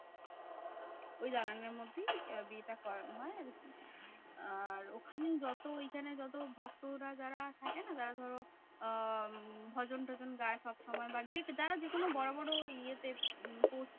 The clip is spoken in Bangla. ওই দালানের মধ্যেই আহ বিয়েটা করানো হয় আরকি। আর ওখানেই যত ঐখানে যত ভক্তরা যারা থাকেনা? যারা ধরো আহ ভজন টজন গায়ে সবসময় বা যে যারা যেকোনো বড় বড় ইয়েতে উম post এ